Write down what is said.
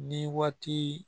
Ni waati